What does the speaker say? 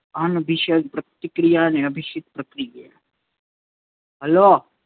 અનભિસંધિત પ્રતિક્રિયા અને અભિસિત પ્રતિક્રિયા હલો